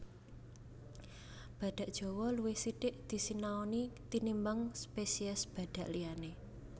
Badhak Jawa luwih sithik disinaoni tinimbang spesies badhak liyané